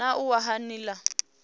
na u wa ha nila